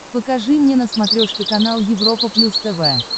покажи мне на смотрешке канал европа плюс тв